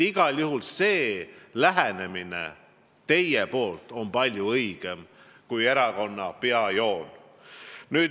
Igal juhul on teie lähenemine palju õigem kui teie erakonna peajoon.